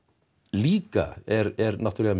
líka er náttúrulega